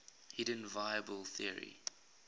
hidden variable theory